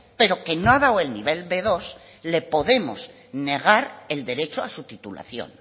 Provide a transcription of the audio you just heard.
pero que no ha dado el nivel be dos le podemos negar el derecho a su titulación